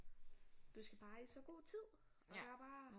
Du skal bare i så god tid og der bare